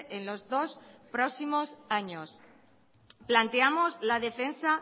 en los dos próximos años planteamos la defensa